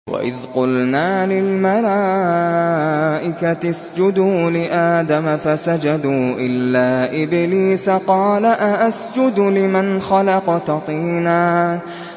وَإِذْ قُلْنَا لِلْمَلَائِكَةِ اسْجُدُوا لِآدَمَ فَسَجَدُوا إِلَّا إِبْلِيسَ قَالَ أَأَسْجُدُ لِمَنْ خَلَقْتَ طِينًا